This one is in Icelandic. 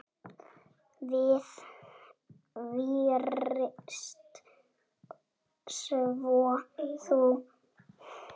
Við fyrst, svo þú.